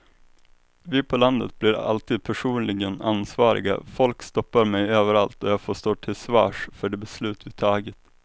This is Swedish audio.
Vi på landet blir alltid personligen ansvariga, folk stoppar mig överallt och jag får stå till svars för de beslut vi har tagit.